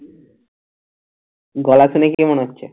গলা শুনে কে মনে হচ্ছে?